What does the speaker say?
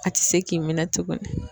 A tɛ se k'i minɛ tugunni.